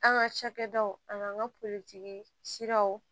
An ka cakɛdaw an n'an ka politigi siraw